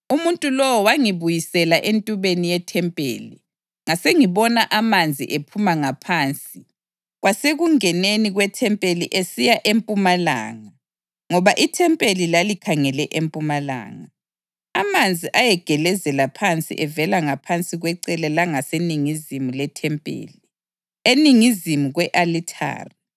Umuntu lowo wangibuyisela entubeni yethempeli, ngasengibona amanzi ephuma ngaphansi kwasekungeneni kwethempeli esiya empumalanga (ngoba ithempeli lalikhangele empumalanga.) Amanzi ayegelezela phansi evela ngaphansi kwecele langaseningizimu lethempeli, eningizimu kwe-alithari.